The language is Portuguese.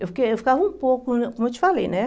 Eu fiquei eu ficava um pouco, como eu te falei, né?